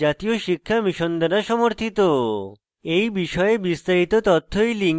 এই বিষয়ে বিস্তারিত তথ্য এই link প্রাপ্তিসাধ্য